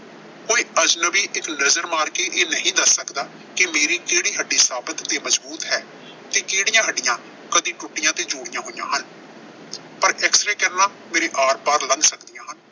ਕੋਈ ਅਜਨਬੀ ਇੱਕ ਨਜ਼ਰ ਮਾਰ ਕੇ ਨਹੀਂ ਦੱਸ ਸਕਦਾ ਕਿ ਮੇਰੀ ਕਿਹੜੀ ਹੱਡੀ ਸਾਬੁਤ ਤੇ ਮਜ਼ਬੂਤ ਹੈ ਤੇ ਕਿਹੜੀਆਂ ਹੱਡੀਆਂ ਕਦੀ ਟੁੱਟੀਆਂ ਤੇ ਜੋੜੀਆਂ ਹੋਈਆਂ ਹਨ। ਪਰ XY ਕਿਰਨਾਂ ਮੇਰੇ ਆਰ-ਪਾਰ ਲੰਘ ਸਕਦੀਆਂ ਹਨ।